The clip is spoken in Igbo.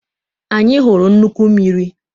Anyị hụrụ nnukwu mmiri.